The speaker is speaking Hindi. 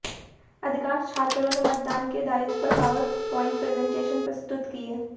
अधिकाश छात्राओं ने मतदान के दायित्त्व पर पावर पवाइंट प्रेजेंटेशन प्रस्तुत किए